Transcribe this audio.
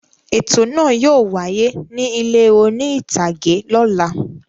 Ètò náà yóò wáyé ní ilé oní-ìtàgé lọ́la.